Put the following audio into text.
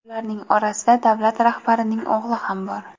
Ularning orasida davlat rahbarining o‘g‘li ham bor.